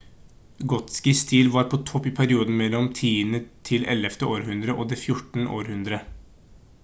gotisk stil var på topp i perioden mellom 10.–11. århundre og det 14. århundre